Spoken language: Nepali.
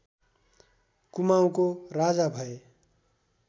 कुमाउँको राजा भए